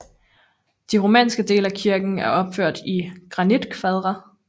De romanske dele af kirken er opført i granitkvadre